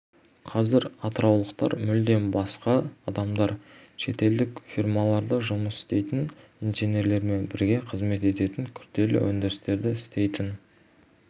қазір атыраулықтар мүлдем басқа адамдар шетелдік фирмаларда жұмыс істейтін инженерлермен бірге қызмет ететін күрделі өндірістерді істейтін